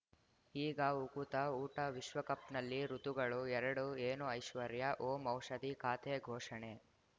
ಈಗ ಉಕುತ ಊಟ ವಿಶ್ವಕಪ್‌ನಲ್ಲಿ ಋತುಗಳು ಎರಡು ಏನು ಐಶ್ವರ್ಯಾ ಓಂ ಔಷಧಿ ಖಾತೆ ಘೋಷಣೆ